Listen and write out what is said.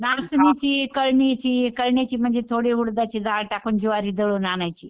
नाचणीची, कळणीची कळणीची म्हणजे थोडीशी उडदाची डाळ टाकून ज्वारी दळून आणायची.